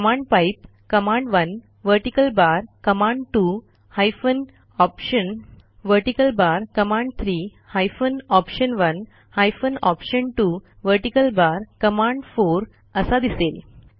command pipe command one vertical bar command two hyphen option vertical bar command three hyphen option one hyphen option two vertical bar command4असा दिसेल